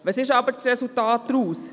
Welches ist das Resultat davon?